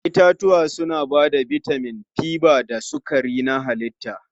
Yawancin 'ya'yan itatuwa suna ba da bitamin, fiber da sukari na halitta.